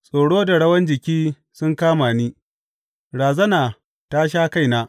Tsoro da rawan jiki sun kama ni; razana ta sha kaina.